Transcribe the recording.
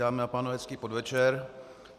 Dámy a pánové, hezký podvečer.